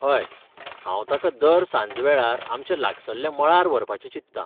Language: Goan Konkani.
हय, हांव ताका दर सांजवेळार आमच्या लागसल्ल्या मळार व्हरपाचें चिंततां.